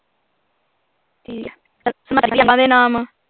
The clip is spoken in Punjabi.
ਨਾਮ